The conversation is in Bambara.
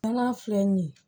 N'a filɛ nin ye